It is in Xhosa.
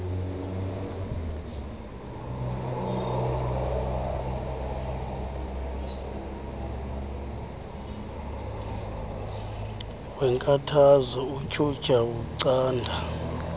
weenkathazo utyhutyha ucanda